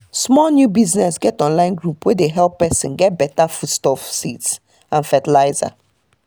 small new business get online group wey dey help person get better foodstuffs seeds and fertilizer